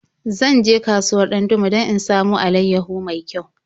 Zan je kasuwar Dandume don in samo alaiyahu mai kyau.